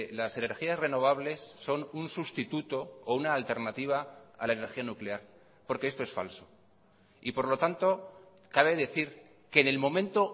las energías renovables son un sustituto o una alternativa a la energía nuclear porque esto es falso y por lo tanto cabe decir que en el momento